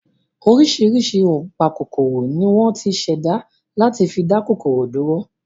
Oríṣiríṣi ọ̀npákòkòrò ni wọ́n ti ṣẹ̀dá láti fi dá kòkòrò dúró